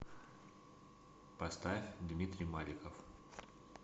поставь дмитрий маликов